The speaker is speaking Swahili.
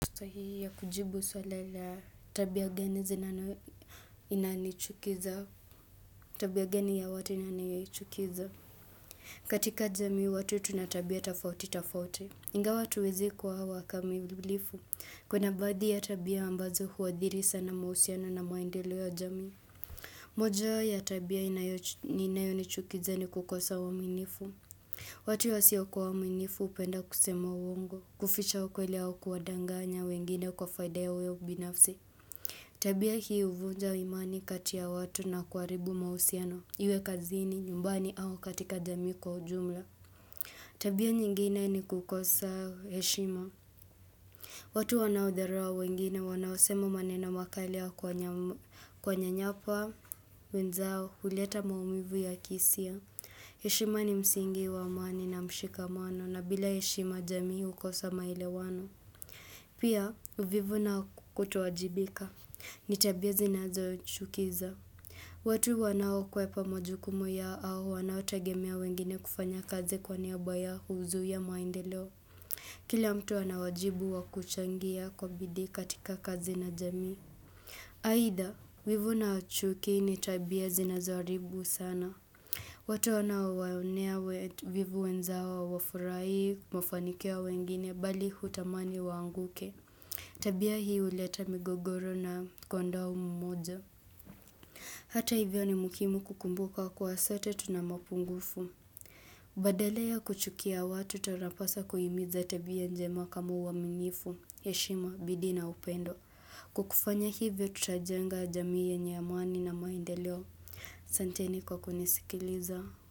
Sahihi ya kujibu swali la tabia gani zinanichukiza. Tabia gani ya watu inanichukiza. Katika jamii watu tunatabia tafauti tafauti. Ingawa hatuwezi kuwa wakamilifu. Kuna baadhi ya tabia ambazo huathiri sana mahusiano na maendeleo ya jamii moja ya tabia inayonichukiza ni kukosa uaminifu. Watu wasio kuwa waaminifu hupenda kusema uongo. Kuficha ukweli au kuwadanganya wengine kwa faida yao binafsi. Tabia hii huvunja imani kati ya watu na kuharibu mahusiano Iwe kazini nyumbani au katika jamii kwa ujumla. Tabia nyingine ni kukosa heshima. Watu wanaodharau wengine wanaosema maneno makali ya kuwanyanyapaa. Mwenzao huleta maumivu ya kihisia. Heshima ni msingi wa amani na mshikamano na bila heshima jamii hukosa maelewano. Pia, uvivu na kutowajibika. Nitabia zinazo chukiza. Watu wanao kwepa majukumu yao au wanao tagemea wengine kufanya kazi kwa niaba yao huzuia maendeleo. Kila mtu anawajibu wakuchangia kwa bidii katika kazi na jamii. Aidha wivu na chuki nitabia zinazo haribu sana. Watu wanao waonea wivu wenzao hawafurahii mafanikio ya wengine bali hutamani waanguke. Tabia hii huleta migogoro na kuondoa umoja. Hata hivyo ni muhimu kukumbuka kuwa sote tunamapungufu. Badala ya kuchukia watu tunapaswa kuhimiza tabia njema kama uaminifu, heshima, bidii na upendo. Kwa kufanya hivyo tutajenga jamii yenye amani na maendeleo. Santeni kwa kunisikiliza.